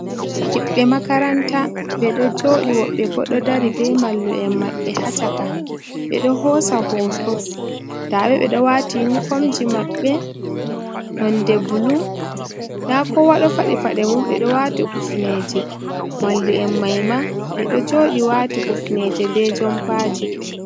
Himɓe makaranta ɓe ɗo jooɗi, woɓɓe bo ɗo dari be mallum'en maɓɓe ha caka, ɓe ɗo hoosa hooto nda ɓe ,ɓe ɗo waati inifomji maɓɓe nonde bulu nda kowa ɗo fadi paɗe mum ,ɓe ɗo waati kufneeje. Mallum'en may ma ɓe ɗo jooɗi waati kufneeje be jompaaji.